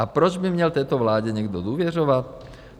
A proč by měl této vládě někdo důvěřovat?